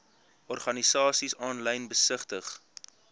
organisasies aanlyn besigtig